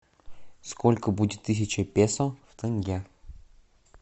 сколько будет тысяча песо в тенге